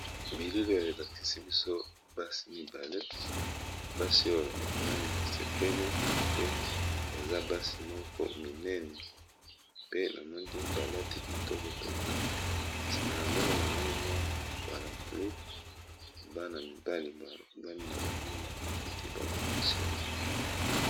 Bilili oyo elakisi biso basi mibale ,ba sepeli pe baza minene bakati kitoko penza sima na bango namoni parapluie Bana mibale bavandi na ba kiti bazo solola.